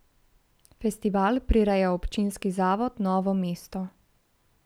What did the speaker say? Festival prireja občinski Zavod Novo mesto.